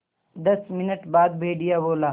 दस मिनट बाद भेड़िया बोला